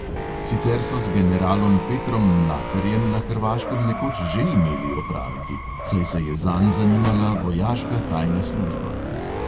Sicer so z generalom petrom mlakarjem na hrvaškem nekoč že imeli opraviti, saj se je zanj zanimala vojaška tajna služba.